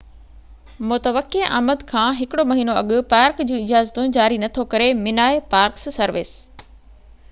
park service minae متوقع آمد کان هڪڙو مهينو اڳ پارڪ جون اجازتون جاري نٿو ڪري